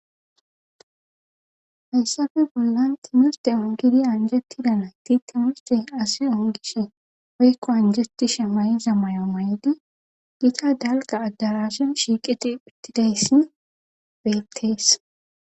Hayssafe bollan timisde ongidi anjetidanay ti timiste asi ongishe oykko anjeti she may7za mayo maydi gita dalga addarashin shiiqe diiphitidayssin beettees.